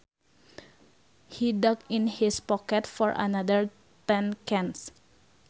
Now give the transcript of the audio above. He dug in his pocket for another ten cents